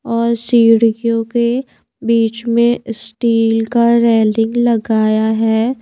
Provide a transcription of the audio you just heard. और सीढ़ियों के बीच में स्टील का रेलिंग लगाया है।